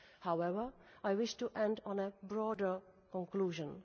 However, I wish to end on a broader conclusion.